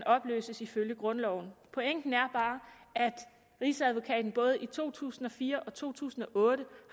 opløses ifølge grundloven pointen er bare at rigsadvokaten både i to tusind og fire og to tusind og otte